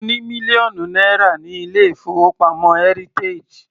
Mo ní mílíọ̀nù náírà ní ilé-ìfowópamọ́ heritage.